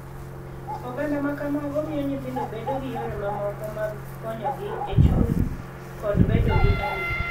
Oganda ma kamago miyo nyithindo bedo gi yore mamoko mag konyogi e chuny kod bedo gi arita,